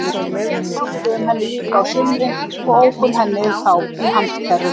Við hjálpuðum henni líka á sumrin og ókum henni þá í handkerru.